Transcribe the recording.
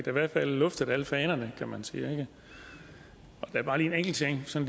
i hvert fald luftet alle fanerne kan man sige der er bare en enkelt ting som